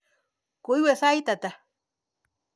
Koiwe sait ata?